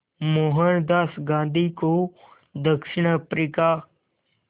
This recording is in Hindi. मोहनदास गांधी को दक्षिण अफ्रीका